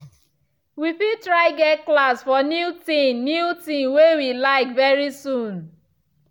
we fit try get class for new thing new thing way we like very soon.